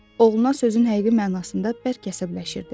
Oğluna sözün həqiqi mənasında bərk əsəbləşirdi.